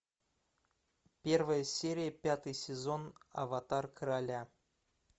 первая серия пятый сезон аватар короля